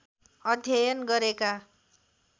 अध्ययन गरेका